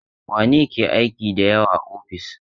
Wane ne ke aiki da yawa a ofis?